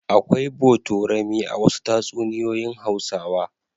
Akwai botorami a wasu tatsunoyoyin Hausawa.